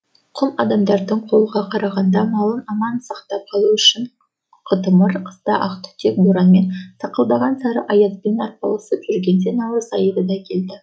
құм адамдары қолға қараған малын аман сақтап қалу үшін қытымыр қыста ақ түтек боранмен сақылдаған сары аязбен арпалысып жүргенде наурыз айы да келеді